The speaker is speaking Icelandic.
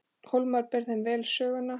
Hólmar ber þeim vel söguna.